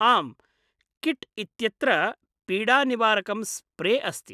आम्, किट् इत्यत्र पीडानिवारकं स्प्रे अस्ति।